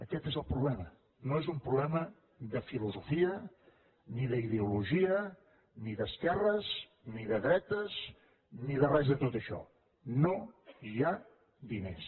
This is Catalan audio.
aquest és el problema no és un problema de filosofia ni d’ideologia ni d’esquerres ni de dretes ni de res de tot això no hi ha diners